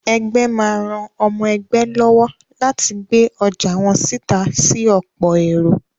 Ẹgbẹ́ má ran ọmọ ẹgbé lọ́wọ́ láti gbé ọjà wọ́n síta sí ọ̀pọ̀ èrò.